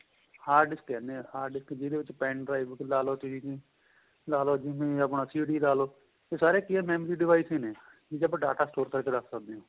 hard disk ਕਹਿਣੇ ਹਾਂ ਜਿਹਦੇ ਵਿੱਚ pen drive ਲਾਲੋ ਤੁਸੀਂ ਲਾਲੋ ਜਿਵੇਂ ਆਪਣਾ CD ਲਾਲੋ ਏਹ ਸਾਰੇ ਕਿ ਏਹ memory device ਨੇ ਠੀਕ ਏ ਆਪਾਂ data store ਕਰਕੇ ਰੱਖ ਸਕਦੇ ਹਾਂ